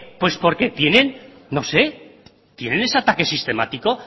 porque tienen no sé tienen ese ataque sistemático